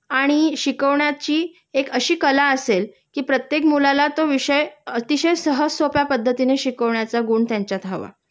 आणि शिकवण्याची एक अशी कला असेल कि प्रत्येक मुलाला तो विषय अतिशय सहज सोप्या पद्धतीने शिकवण्याचा गुण त्यांच्यात हवा